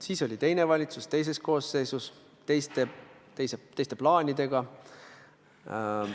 Siis oli teine valitsus teises koosseisus, teiste plaanidega.